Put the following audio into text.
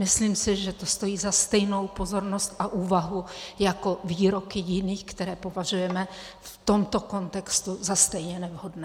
Myslím si, že to stojí za stejnou pozornost a úvahu jako výroky jiných, které považujeme v tomto kontextu za stejně nevhodné.